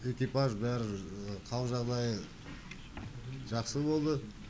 экипаж бәрі қал жағдайы жақсы болды